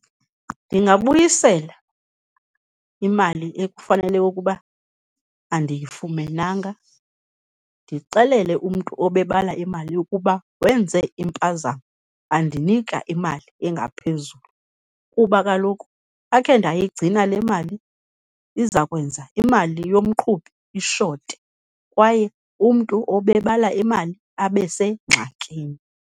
Ndingabuyisela imali ekufanele ukuba andiyifumenanga, ndixelele umntu obebala imali ukuba wenze impazamo wandinika imali engaphezulu, kuba kaloku akhe ndayigcina le mali iza kwenza imali yomqhubi ishote kwaye umntu obebala imali abe sengxakini.